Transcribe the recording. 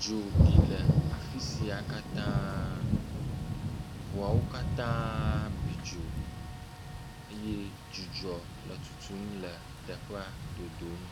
Dzo bi le afi sia katã, ŋuawo katã bi dzo eye dzudzɔ le tutum le teƒea dodom,